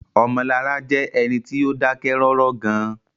Omolara jẹ́ ẹni tí ó dákẹ́ rọ́rọ́ gan-an